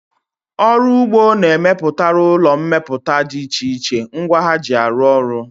Ọrụ ụgbọ na-emepụtara ụlọ mmepụta dị iche iche ngwa ha ji arụ ọrụ